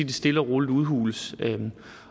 det stille og roligt udhules